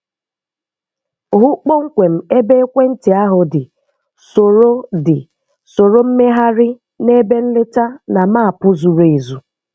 Hụ kpọmkwem ebe ekwentị ahụ dị, soro dị, soro mmegharị na ebe nleta na maapụ zuru ezu